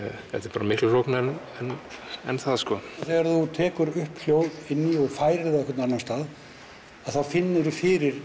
bara miklu flóknara en það sko þegar þú tekur upp hljóð inni og færir á einhvern annan stað þá finnurðu fyrir